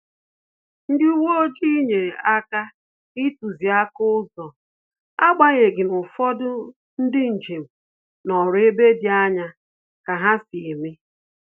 Ndị uwe ojii nyere aka ituziaka ụzọ, agbanyeghi n'ufodu ndị njem nọrọ ebe dị anya ka ha si eme